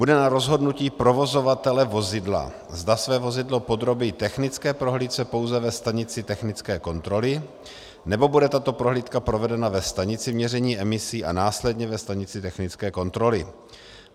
Bude na rozhodnutí provozovatele vozidla, zda své vozidlo podrobí technické prohlídce pouze ve stanici technické kontroly, nebo bude tato prohlídka provedena ve stanici měření emisí a následně ve stanici technické kontroly.